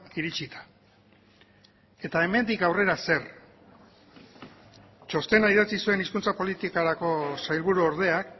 iritsita eta hemendik aurrera zer txostena idatzi zuen hizkuntza politikarako sailburuordeak